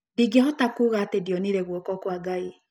Ndingĩhota kuuga atĩ ndionire guoko kwa Ngai.